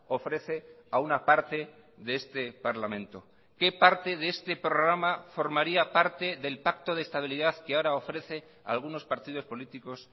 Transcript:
ofrece a una parte de este parlamento qué parte de este programa formaría parte del pacto de estabilidad que ahora ofrece a algunos partidos políticos